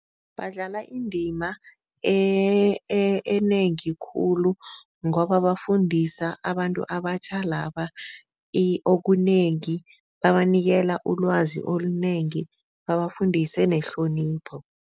Badlala indima enengi khulu ngoba bafundisa abantu abatjha laba okunengi, babanikele ulwazi olunengi, babafundise nehlonipho.